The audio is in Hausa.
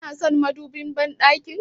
Kana son madubin banɗakin?